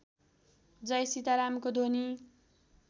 जय सीतारामको ध्वनि